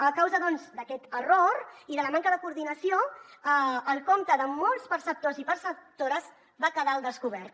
a causa doncs d’aquest error i de la manca de coordinació el compte de molts perceptors i perceptores va quedar al descobert